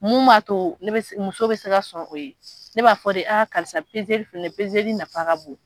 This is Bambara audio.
Mun b'a to ne bɛ se muso bɛ se ka sɔn o ye, ne b'a fɔ de aa karisa filɛ nafa ka bon.